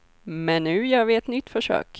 Men nu gör vi ett nytt försök.